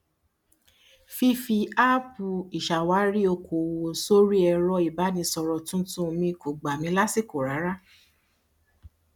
fífí áàpù ìṣàwárí okoòwò sórí ẹrọ ìbánisọrọ tuntun mi kò gbà mí lásìkò rárá